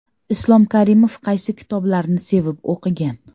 Islom Karimov qaysi kitoblarni sevib o‘qigan ?